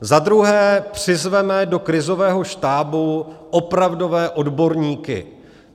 Za druhé, přizvěme do krizového štábu opravdové odborníky.